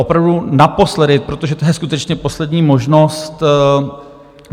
Opravdu naposledy, protože to je skutečně poslední možnost.